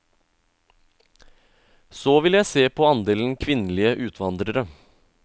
Så vil jeg se på andelen kvinnelige utvandrere.